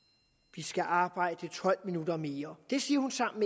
vi skal arbejde tolv minutter mere det siger hun sammen